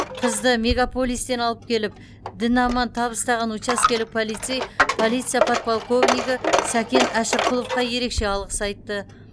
қызды мегаполистен алып келіп дін аман табыстаған учаскелік полицей полиция подполковнигі сакен әшірқұловқа ерекше алғыс айтты